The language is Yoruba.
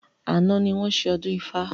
Àná ni wọn ṣe ọdún ifá